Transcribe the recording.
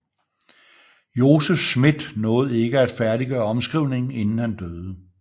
Joseph Smith nåede ikke at færdiggøre omskrivningen inden han døde